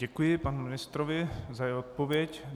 Děkuji panu ministrovi za jeho odpověď.